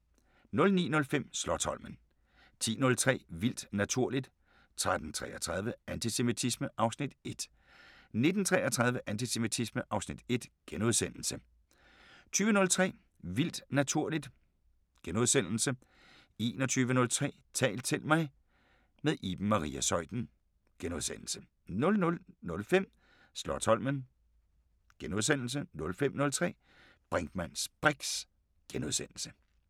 09:05: Slotsholmen 10:03: Vildt naturligt 13:33: Antisemitisme (Afs. 1) 19:33: Antisemitisme (Afs. 1)* 20:03: Vildt naturligt * 21:03: Tal til mig – med Iben Maria Zeuthen * 00:05: Slotsholmen * 05:03: Brinkmanns briks *